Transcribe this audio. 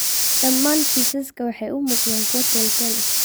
Dhammaan kiisaska waxay u muuqdaan kuwo teel-teel ah.